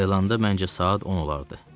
Ayılanda məncə saat 10 olardı.